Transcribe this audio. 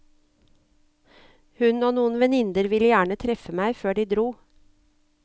Hun og noen venninner ville gjerne treffe meg før de dro.